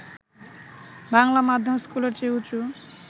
বাংলা মাধ্যম স্কুলের চেয়ে উঁচু